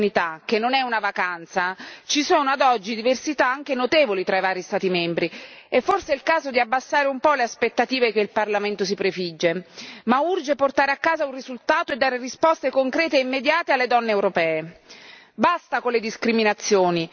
È evidente che, sul tema del congedo di maternità, che non è una vacanza, ci sono ad oggi diversità anche notevoli tra i vari Stati membri, e forse è il caso di abbassare un po' le aspettative che il Parlamento si prefigge, ma urge portare a casa un risultato e dare risposte concrete e immediate alle donne europee.